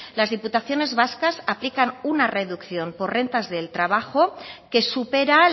las diputaciones vascas aplican una reducción por rentas del trabajo que supera